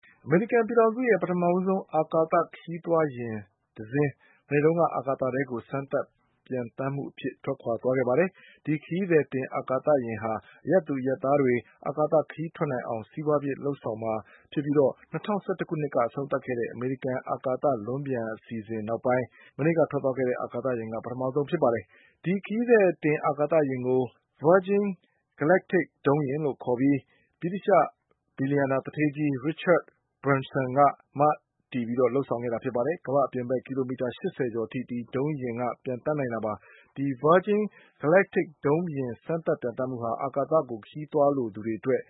အမေရိကန်ပြည်ထောင်စုရဲ့ ပထမဆုံး အာကာသ ခရီးသွားယာဉ်တစီး အာကာသထဲကို စမ်းသပ်ပျံသန်းမှုအဖြစ် မနေ့က ထွက်ခွါသွားခဲ့ပါတယ်။ ဒီခရီးသည်တင်အာကာသယာဉ်ဟာ အရပ်သူအရပ်သားတွေ အာကာသခရီးထွက် နိုင်အောင် စီးပွါးဖြစ်လုပ်ဆောင်မှာဖြစ်ပြီး ၂၀၁၁ခုနှစ်ကအဆုံးသတ်ခဲ့တဲ့ အမေရိကန် အာကာသလွန်းပျံအစီအစဉ် နောက်ပိုင်း မနေ့ကထွက်သွားတဲ့ အာကသယာဉ်က ပထမဆုံးဖြစ်ပါတယ်။ ဒီခရီးသည်တင်အာကာသယာဉ်ကို Virgin Galactic ဒုံးယာဉ် လို့ခေါ်ပြီး ဗြိတိသျှ ဘီလျှံနာ သူဌေးကြီး Richard Barnsonက မတည်လုပ်ဆောင်ခဲ့တာပါ။ ကမ္ဘာ့ အပြင်ဘက် ကီလိုမီ တာရှစ်ဆယ်ကျော်အထိ ဒီဒုံးယာဉ်က ပျံသန်းနိုင်တာပါ။ ဒီ Virgin Galactic ဒုံးယာဉ်စမ်းသပ် ပျံသန်းမှုဟာ အာကာသကိုခရီးသွားလိုသူတွေအတွက်